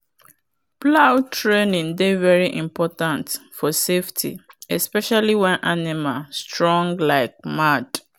plow training dey very important for safety especially when animal strong like mad.